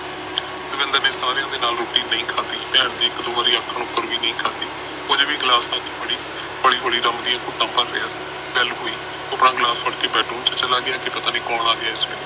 ਦਵਿੰਦਰ ਨੇ ਸਾਰਿਆਂ ਨਾਲ ਰੋਟੀ ਨਹੀਂ ਖਾਦੀ ਭੈਣ ਦੇ ਇਕ ਦੋ ਵਾਰ ਆਖਣ ਉਪਰ ਵੀ ਨਹੀਂ ਖਾਦੀ ਉਹ ਅਜੇ ਵੀ ਗਿਲਾਸ ਹੱਥ ਚ ਫੜ੍ਹਈ ਹੋਲੀ ਹੋਲੀ ਦਾਰੂ ਡਾ ਘੁੱਟਾਂ ਭਰ ਰਿਹਾ ਸੀ ਬੈੱਲ ਹੋਈ ਉਪਰ ਗਿਲਾਸ ਫੜ੍ਹ ਕੇ ਉਪਰ bedroom ਚ ਚਲਾ ਗਿਆ ਕੇ ਪਤਾ ਨਹੀਂ ਕੌਣ ਆ ਗਿਆ ਇਸ ਵੇਲੇ